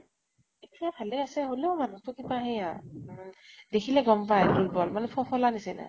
এতিয়া ভালে আছে, হলেও মানুহ্তো কিবা সেই হয় উম দেখিলে গʼম পায় আৰু দুৰ্বল মানে ফোফলা নিছিনা।